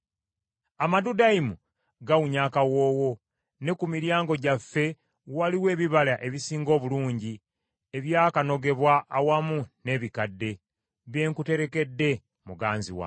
Amadudayimu gawunya akawoowo, ne ku miryango gyaffe waliwo ebibala ebisinga obulungi, Ebyakanogebwa awamu n’ebikadde, bye nkuterekedde muganzi wange.